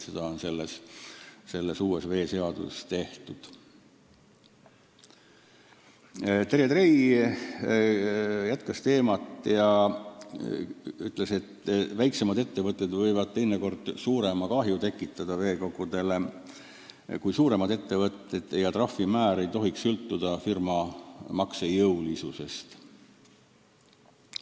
Terje Trei jätkas teemat ja ütles, et väiksemad ettevõtted võivad teinekord veekogudele suurema kahju tekitada kui suuremad ettevõtted ja trahv ei tohiks sõltuda firma maksejõulisusest.